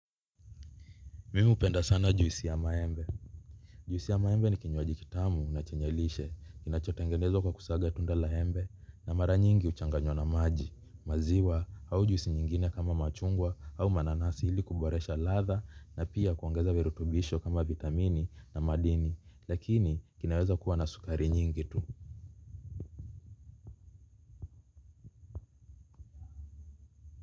Mimi hupenda sana juisi ya maembe. Juisi ya maembe ni kinywaji kitamu na chenye lishe. Kinachotengenezwa kwa kusaga tunda la embe na mara nyingi huchanganywa na maji. Maziwa au juisi nyingine kama machungwa au mananasi ili kuboresha ladha na pia kuongeza virutubisho kama vitamini na madini. Lakini kinaweza kuwa na sukari nyingi tu.